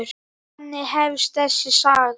Þannig hefst þessi saga.